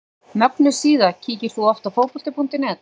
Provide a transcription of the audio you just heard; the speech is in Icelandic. Mögnuð síða Kíkir þú oft á Fótbolti.net?